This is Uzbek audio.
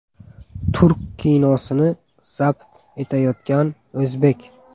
Turk kinosini zabt etayotgan o‘zbek.